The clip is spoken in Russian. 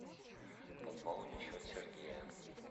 пополни счет сергея